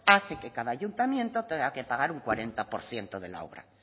hace que cada ayuntamiento tenga que pagar un cuarenta por ciento de la obra